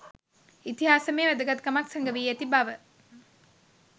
ඉතිහාසමය වැදගත්කමක් සැඟවී ඇති බව